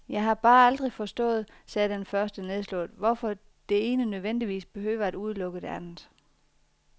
Jeg har bare aldrig forstået, sagde den første nedslået, hvorfor det ene nødvendigvis behøver at udelukke det andet.